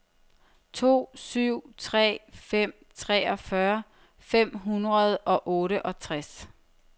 to syv tre fem treogfyrre fem hundrede og otteogtres